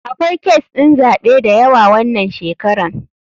Akwai kes ɗin zaɓe dayawa wanan shekaran.